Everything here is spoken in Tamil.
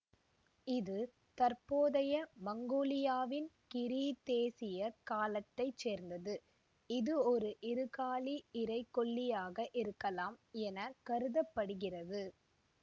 இது தற்போதைய மங்கோலியாவின் கிரீத்தேசிய காலத்தை சேர்ந்தது இது ஒரு இருகாலி இரைகொல்லியாக இருக்கலாம் என கருத படுகிறது